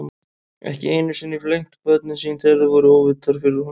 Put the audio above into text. Ekki einu sinni flengt börnin sín þegar þau voru óvitar og fyrir honum.